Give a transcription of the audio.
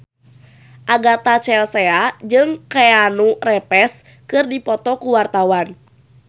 Agatha Chelsea jeung Keanu Reeves keur dipoto ku wartawan